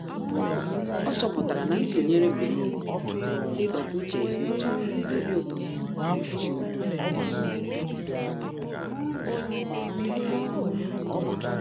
Ọ́ chọ́pụ̀tárà na ntụnyere mgbe nìile sì dọ́pụ́ úchè ya n’ézí obi ụtọ.